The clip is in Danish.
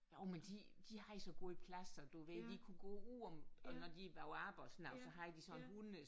Jo men de de havde så god plads og du ved vi kunne gå ud om og når de var på arbejde og sådan noget så havde de sådan en hunde